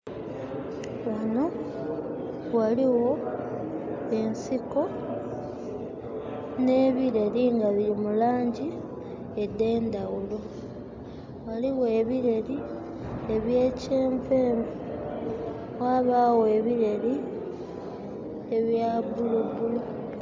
Ghanho ghaligho ensiko nhe bireri nga biri mu langi edhendhaghulo. Ghaligho ebireri ebya kyenvu yenvu ghabagho ebireri ebya bulubulu.